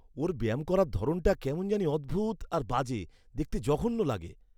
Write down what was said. ওর ব্যায়াম করার ধরণটা কেমন জানি অদ্ভুত আর বাজে, দেখতে জঘন্য লাগে।